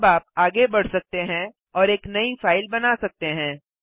अब आप आगे बढ़ सकते हैं और एक नई फ़ाइल बना सकते हैं